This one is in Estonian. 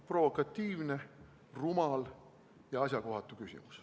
Provokatiivne, rumal ja asjakohatu küsimus.